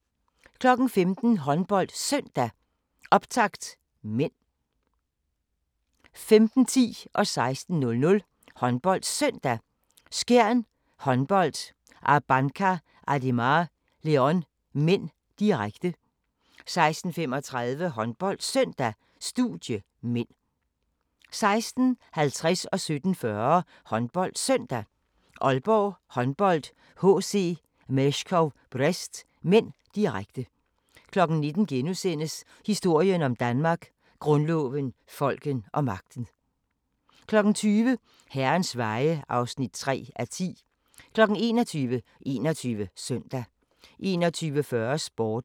15:00: HåndboldSøndag: Optakt (m) 15:10: HåndboldSøndag: Skjern Håndbold-Abanca Ademar Leon (m), direkte 16:00: HåndboldSøndag: Skjern Håndbold-Abanca Ademar Leon (m), direkte 16:35: HåndboldSøndag: Studie (m) 16:50: HåndboldSøndag: Aalborg Håndbold-HC Meshkov Brest (m), direkte 17:40: HåndboldSøndag: Aalborg Håndbold-HC Meshkov Brest (m), direkte 19:00: Historien om Danmark: Grundloven, folket og magten * 20:00: Herrens veje (3:10) 21:00: 21 Søndag 21:40: Sporten